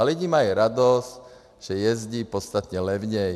A lidi mají radost, že jezdí podstatně levněji.